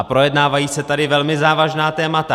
A projednávají se tady velmi závažná témata.